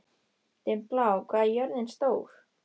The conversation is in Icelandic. Dimmblá, hvað er jörðin stór?